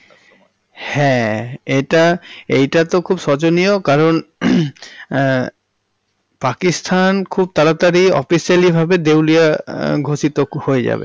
হ্যাঁ এইটা~ এইটা তো খুব শোচনীয় কারণ হহমম হম পাকিস্তান খুব তাড়াতাড়ি officially ভাবে দেউলিয়া এহঃ ঘোষিত হয়ে যাবে।